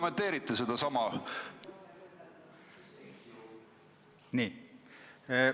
Kuidas te seda kommenteerite?